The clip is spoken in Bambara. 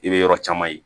I bɛ yɔrɔ caman ye